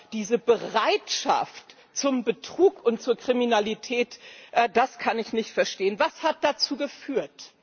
Aber diese Bereitschaft zum Betrug und zur Kriminalität das kann ich nicht verstehen. Was hat dazu geführt?